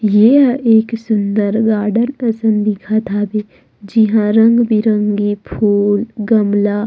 यह एक सुन्दर गार्डन दिखत हवे जिहा रंग-बिरंगे फुल गमला--